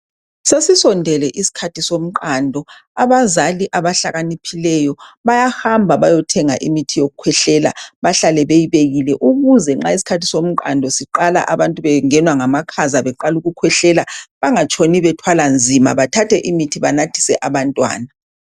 Sesisondele isikhathi somqando abazali abahlakaniphileyo bayahamba bayothenga imithi yokukhwehlela bahlale beyibekile ukuze nxa isikhathi somqando siqala abantu bengenwa ngamakhaza beqala ukukhwehlela bangatshoni bethwala nzima bathathe imithi banathise abantwana